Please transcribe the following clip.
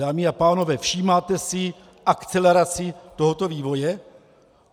Dámy a pánové, všímáte si, akcelerace tohoto vývoje?